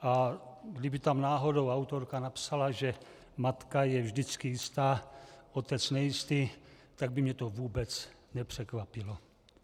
A kdyby tam náhodou autorka napsala, že matka je vždycky jistá, otec nejistý, tak by mě to vůbec nepřekvapilo.